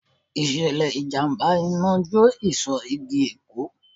Ìṣẹ̀lẹ̀ ìjàmbá Iná jó ìsò igi Èkó.